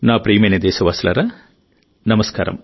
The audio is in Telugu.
నా ప్రియమైన దేశవాసులారా నమస్కారం